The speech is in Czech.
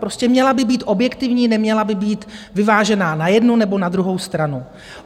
Prostě měla by být objektivní, neměla by být vyvážená na jednu nebo na druhou stranu.